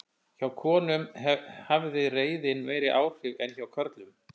Hjá konum hafði reiðin meiri áhrif en hjá körlum.